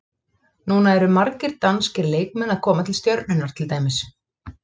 Núna eru margir danskir leikmenn að koma til Stjörnunnar til dæmis.